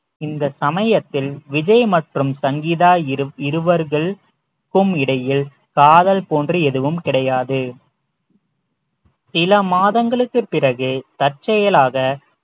இந்த சமயத்தில் விஜய் மற்றும் சங்கீதா இரு~ இருவர்கள் ~க்கும் இடையில் காதல் போன்று எதுவும் கிடையாது சில மாதங்களுக்குப் பிறகு தற்செயலாக